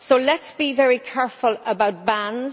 So let us be very careful about bans.